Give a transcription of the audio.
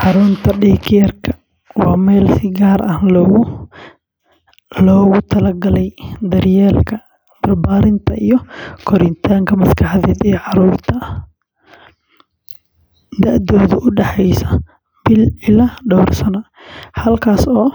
Xarunta day care-ka waa meel si gaar ah loogu talagalay daryeelka, barbaarinta, iyo koritaanka maskaxeed ee carruurta da'doodu u dhexayso bil ilaa dhowr sano, halkaas oo